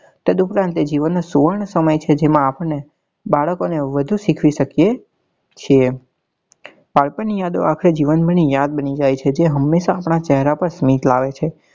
તદ ઉપરાંત તે જીવન નાં સુવર્ણ સમય છે જેમાં આપણને બાળકો ને વધુ શીખવી શકીએ છે બાળપણ ની યાદો આપડે જીવનભર યાદ બની જાય છે જે હમેશા આપડા ચહેરા પર સ્મિત લાવે છે.